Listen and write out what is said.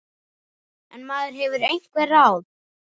En maður hefur einhver ráð.